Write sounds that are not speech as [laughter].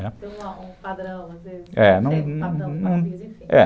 Né, é um padrão, às vezes, é, [unintelligible]